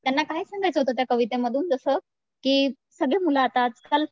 त्यांना काय सांगायचं होतं त्या कवितेमधून जसं कि सगळे मुलं आता आजकाल